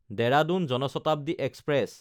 Dehradun Jan Shatabdi express